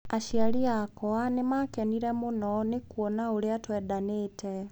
Aciari akwa nĩ maakenire mũno nĩ kuona ũrĩa twendanĩte